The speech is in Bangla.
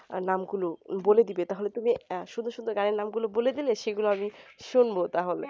নাম গুলো বলে দিবে তাহলে তুমি সুন্দর সুন্দর গানের নাম গুলো বলে দিলে সেগুলো আমি শুনবো তাহলে